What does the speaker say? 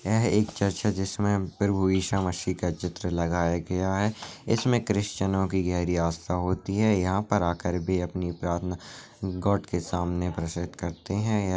यह है एक चर्च है जिसमें प्रभु ईसा मसीह का चित्र लगाया गया है। इसमें क्रिश्चियनो की गहरी आस्था होती है। यहाँ पर आकर बे अपनी प्रार्थना गॉड के सामने प्रस्तुत करते हैं।